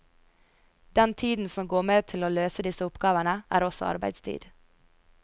Den tiden som går med til å løse disse oppgavene, er også arbeidstid.